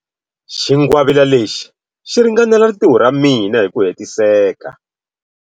Xingwavila lexi xi ringanela rintiho ra mina hi ku hetiseka.